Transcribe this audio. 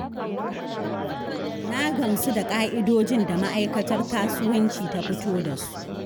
Na gamsu da ƙa'idojin da Ma'akaitar Kasuwanci ta fito da su.